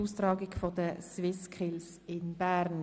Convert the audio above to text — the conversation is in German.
Wir kommen zur Abstimmung.